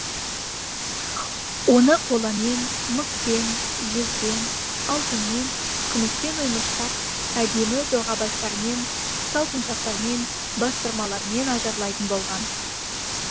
оны қоламен мыспен жезбен алтынмен күміспен оймыштап әдемі доғабастармен салпыншақтармен бастырмалармен ажарлайтын болған